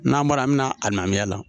N'an bɔra an bɛna a nabila la